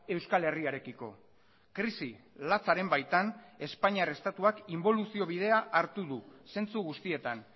euskal herriarekiko krisi latzaren baitan espainiar estatuak inboluzio bidea hartu du zentsu guztietan